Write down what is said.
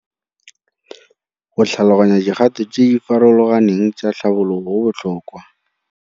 Go tlhaloganya dikgato tse di farologaneng tsa tlhabologo go botlhokwa.